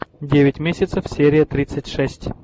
девять месяцев серия тридцать шесть